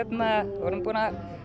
við vorum búin að